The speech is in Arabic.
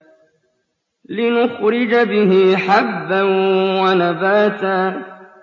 لِّنُخْرِجَ بِهِ حَبًّا وَنَبَاتًا